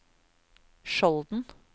Skjolden